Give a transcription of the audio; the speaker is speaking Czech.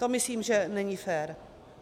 To myslím, že není fér.